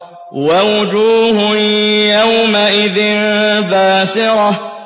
وَوُجُوهٌ يَوْمَئِذٍ بَاسِرَةٌ